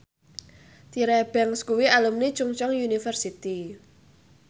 Tyra Banks kuwi alumni Chungceong University